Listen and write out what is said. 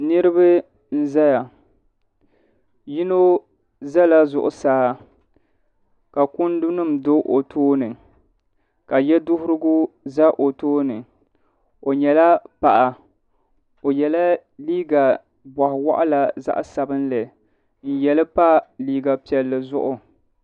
Niriba n-zaya yino zala zuɣusaa ka kundunima do o tooni ka yeduhirigu za o tooni o nyɛla paɣa o yela liiga bɔɣ'waɣila zaɣ'sabinli n-ye li pa liiga piɛlli zuɣu.